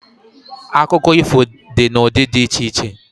Akụkọ ifo dị n'ụdị dị iche iche